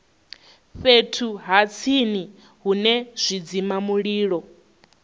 fhethu ha tsini hune zwidzimamulilo